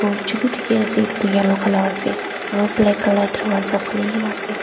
uchite ase atu tu yellow colour aru black colour darwaja khuli krne ase.